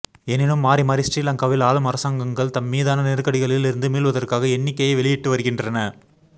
எனினும் மாறி மாறி ஸ்ரீலங்காவில் ஆளும் அரசாங்கங்கங்கள் தம்மீதான நெருக்கடிகளில் இருந்து மீள்வதற்காக எண்ணிக்கையை வெளியிட்டு வருகின்றன